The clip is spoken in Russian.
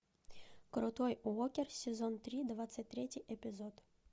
крутой уокер сезон три двадцать третий эпизод